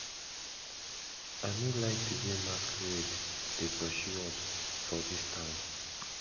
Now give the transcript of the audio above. i no like the way masquerade dey pursue us for dis town